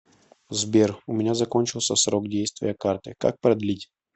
сбер у меня закончился срок действия карты как продлить